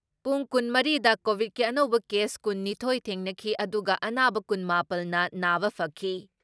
ꯄꯨꯡ ꯀꯨꯟ ꯃꯔꯤ ꯗ ꯀꯣꯚꯤꯠꯀꯤ ꯑꯅꯧꯕ ꯀꯦꯁ ꯀꯨꯟ ꯅꯤꯊꯣꯏ ꯊꯦꯡꯅꯈꯤ ꯑꯗꯨꯒ ꯑꯅꯥꯕ ꯀꯨꯟ ꯃꯥꯄꯜꯅ ꯅꯥꯕ ꯐꯈꯤ ꯫